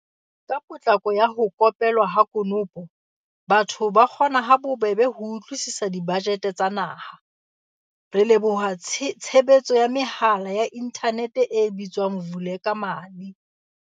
Ka potlako ya ho ko pelwa ha konopo, batho ba kgona ha bobebe ho utlwisisa dibajete tsa naha, re leboha tshebetso ya mehala ya inthanete e bitswang Vulekamali.